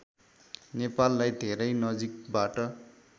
नेपाललाई धेरै नजिकबाट